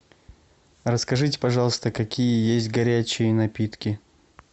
расскажите пожалуйста какие есть горячие напитки